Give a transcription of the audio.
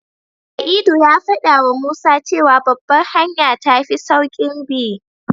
Sa'idu ya faɗawa Musa cewa Babbar hanya tafi sauƙin bi.